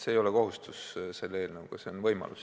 See ei ole eelnõu kohaselt kohustus, see on võimalus.